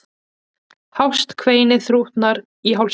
Hást kveinið þrútnar í hálsinum.